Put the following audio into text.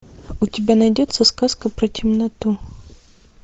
у тебя найдется сказка про темноту